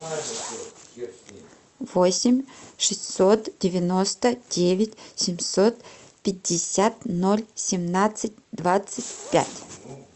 восемь шестьсот девяносто девять семьсот пятьдесят ноль семнадцать двадцать пять